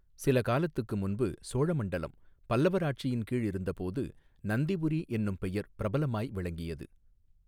சில காலத்துக்கு முன்பு சோழ மண்டலம் பல்லவர் ஆட்சியின் கீழ் இருந்த போது நந்திபுரி என்னும் பெயர் பிரபலமாய் விளங்கியது.